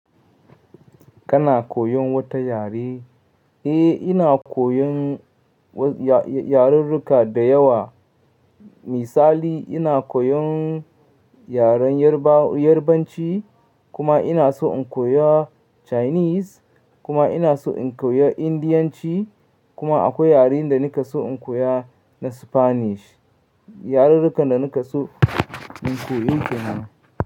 Kana koyon wata yare? Eh, ina koyon yarurruka da yawa. Misali ina koyon yaren Yarbanci kuma ina so in koya Chinese kuma ina so in koyo Indiyanci kuma akwai yaren da naka so in koya na Spanish. Yarurrukan da naka so na keyi kenan.